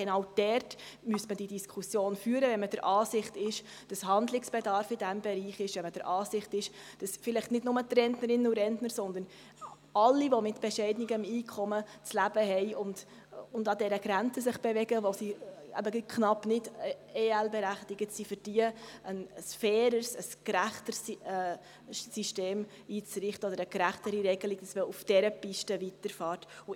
Genau dort müsste diese Diskussion geführt werden, wenn man der Ansicht ist, dass in diesem Bereich Handlungsbedarf besteht, wenn man der Ansicht ist, dass vielleicht nicht nur für die Rentnerinnen und Rentner, sondern für alle, welche mit bescheidenem Einkommen zu leben haben und sich an der Grenze bewegen, sodass sie knapp nicht EL-berechtigt sind, ein faireres, gerechteres System oder eine gerechtere Regelung einzurichten ist und auf dieser Piste weitergefahren werden soll.